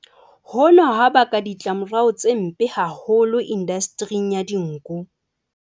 Hona ha baka ditlamorao tse mpe haholo indastering ya dinku.